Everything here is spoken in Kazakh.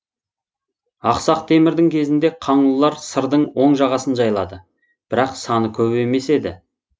ақсақ темірдің кезінде қаңлылар сырдың оң жағасын жайлады бірақ саны көп емес еді